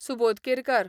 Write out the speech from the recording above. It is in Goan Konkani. सुबोध केरकर